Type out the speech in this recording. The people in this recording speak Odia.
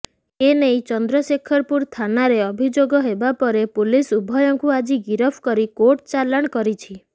ଏନେଇ ଚନ୍ଦ୍ରଶେଖରପୁର ଥାନାରେ ଅଭିଯୋଗ ହେବାପରେ ପୁଲିସ୍ ଉଭୟଙ୍କୁ ଆଜି ଗିରଫ କରି କୋର୍ଟ ଚାଲାଣ କରିଛି